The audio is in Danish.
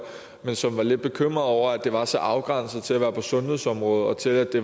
men som var lidt bekymret over at det var så afgrænset til at være på sundhedsområdet og til at det